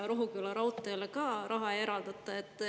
Rohuküla raudteele ka raha ei eraldata.